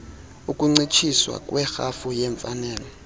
ukuncitshiswa kwerhafu yeemfanelo